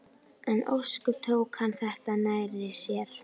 En ósköp tók hann þetta nærri sér.